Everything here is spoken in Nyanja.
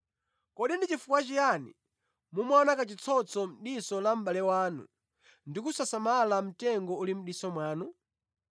“Kodi ndi chifukwa chiyani mumaona kachitsotso mʼdiso la mʼbale wanu ndi kusasamala mtengo uli mʼdiso mwanu?